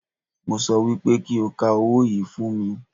Mo sọ wípé kí o ka owó yìí fún mi